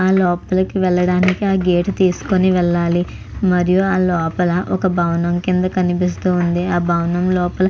ఆ లోపాలకి వెళ్లడానికి ఆ గేటు తీసుకొని వెళ్ళాలి. మరియు ఆ లోపల ఒక భవనం కింద కనిపిస్తుంది. ఆ భవనం లోపల --